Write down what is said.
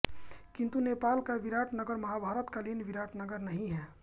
किन्तु नेपाल का विराट नगर महाभारत कालीन विराटनगर नहीं है